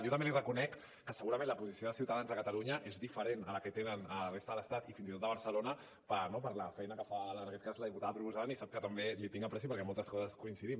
jo també li reconec que segurament la posició de ciutadans a catalunya és diferent a la que tenen a la resta de l’estat i fins i tot a barcelona no per la feina que fa en aquest cas la diputada proposant i sap que també li tinc estima perquè en moltes coses coincidim